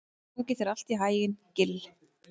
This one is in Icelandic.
Gangi þér allt í haginn, Gill.